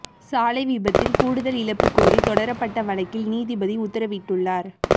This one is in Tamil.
சாலை விபத்தில் கூடுதல் இழப்பு கோரி தொடரப்பட்ட வழக்கில் நீதிபதி உத்தரவிட்டுள்ளார்